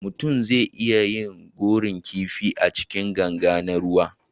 mutum zai iya yin gonar kifi A cikin ganga na ruwa